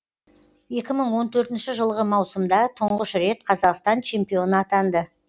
екі мың он төртінші жылғы маусымда тұңғыш рет қазақстан чемпионы атанды